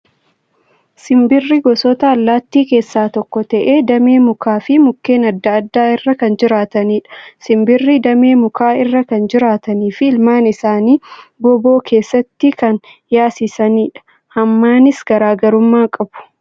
Simbirri gosoota allaattii keessaa tokko ta'ee, damee mukaa fi mukkeen adda addaa irra kan jiraatanidha. Simbirri damee mukaa irra kan jiraatanii fi ilmaan isaanii gooboo keessatti kan yaasisanidha. Hammaanis garaagarummaa qabu.